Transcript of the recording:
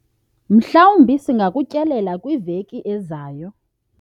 mhlawumbi singakutyelela kwiveki ezayo